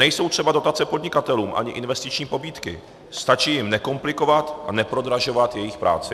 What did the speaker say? Nejsou třeba dotace podnikatelům ani investiční pobídky, stačí jim nekomplikovat a neprodražovat jejich práci.